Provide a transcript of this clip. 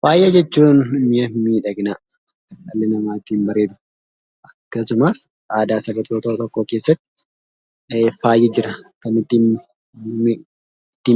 Faaya jechuun miya miidhaginaa dhalli namaa ittiin bareedu akkasumas aadaa saba tokkoo keessatti faayi jira kan itti